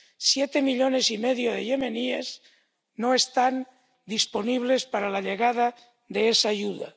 Siete millones y medio de yemeníes no están disponibles para la llegada de esa ayuda.